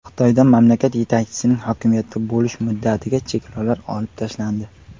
Xitoyda mamlakat yetakchisining hokimiyatda bo‘lish muddatiga cheklovlar olib tashlandi.